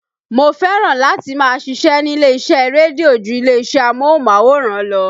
Mo fẹ́ràn láti máa ṣíṣe nílé iṣẹ́ rédíó ju ilé-iṣẹ́ amóhùnmáwòrán lọ